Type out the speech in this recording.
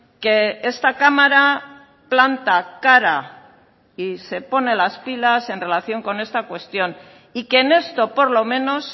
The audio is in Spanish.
que esta cámara planta cara y se pone las pilas en relación con esta cuestión y que en esto por lo menos